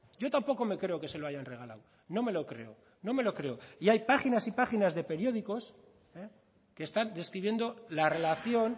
yo tampoco me creo que se lo hayan regalado no me lo creo no me lo creo y hay páginas y páginas de periódicos que están describiendo la relación